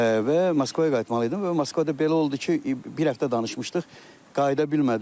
Və Moskvaya qayıtmalıydım və Moskvada belə oldu ki, bir həftə danışmışdıq, qayıda bilmədim.